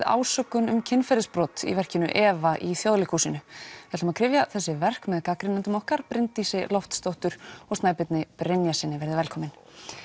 ásökun um kynferðisbrot í verkinu efa í Þjóðleikhúsi við kryfjum þessi verk með gagnrýnendum okkar Bryndísi Loftsdóttur og Snæbirni Brynjarssyni verið velkomin